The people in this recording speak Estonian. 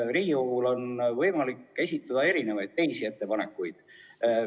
Riigikogul on võimalik esitada teisi ettepanekuid.